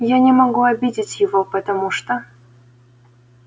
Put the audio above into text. я не могу обидеть его потому что